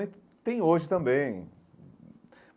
E tem hoje também.